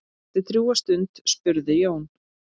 Eftir drjúga stund spurði Jón